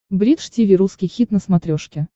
бридж тиви русский хит на смотрешке